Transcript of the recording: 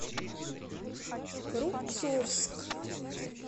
рубцовск